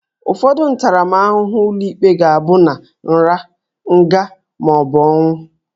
Ụfọdụ ntaramahụhụ ụlọikpe ga-abịa na nra, nga, ma ọ bụ ọnwụ